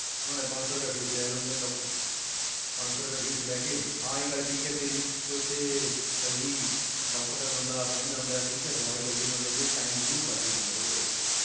ਉਹਨਾਂ ਨੇ ਪੰਜ ਸੌ ਰੁਪਇਆ fees ਲੈ ਲੈਂਦੇ ਨੇ doctor ਪੰਜ ਸੌ ਰੁਪਏ fees ਲੈ ਕੇ, ਹਾਂ ਇਹ ਗੱਲ ਠੀਕ ਹੈ ਤੇਰੀ ਕਿ ਉੱਥੇ ਜ਼ਲਦੀ doctor ਤੱਕ ਬੰਦਾ ਪਹੁੰਚ ਜਾਂਦਾ ਹੈ, ਠੀਕ ਹੈ ਦਵਾਈ ਜ਼ਲਦੀ ਮਿਲ ਜਾਂਦੀ ਹੈ time ਜ਼ਰੂਰ ਬਚ ਜਾਂਦਾ ਹੈ ਉਹਦੇ ਵਿੱਚ